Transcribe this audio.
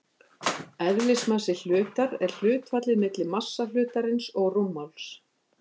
Eðlismassi hlutar er hlutfallið milli massa hlutarins og rúmmáls.